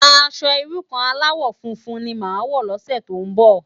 Aṣò irú kàn álàwò fúnfún ni má wò lòsè tó n bò